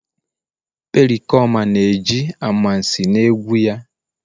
Pericoma na-eji amansi na egwu ya..